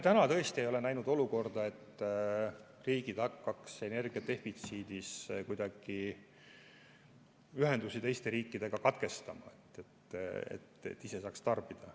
Me tõesti ei ole näinud olukorda, kus riigid hakkaks energia defitsiidis kuidagi ühendusi teiste riikidega katkestama, et saaks ise tarbida.